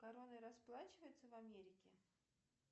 короной расплачиваются в америке